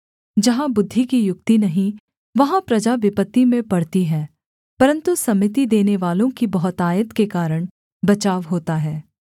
जहाँ बुद्धि की युक्ति नहीं वहाँ प्रजा विपत्ति में पड़ती है परन्तु सम्मति देनेवालों की बहुतायत के कारण बचाव होता है